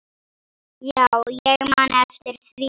Já, ég man eftir því.